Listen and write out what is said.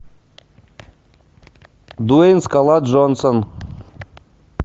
дуэйн скала джонсон